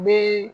Bi